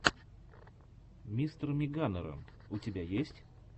мистермеганерон у тебя есть